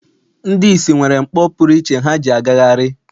Ndị ìsì nwere mkpọ pụrụ iche ha ji agagharị.